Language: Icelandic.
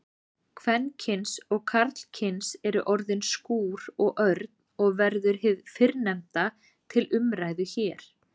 Kvenkyns og karlkyns eru orðin skúr og örn og verður hið fyrrnefnda til umræðu hér.